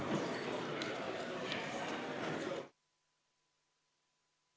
Istungi lõpp kell 10.04.